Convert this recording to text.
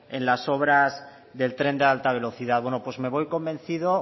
en las obras del tren de alta velocidad bueno pues me voy convencido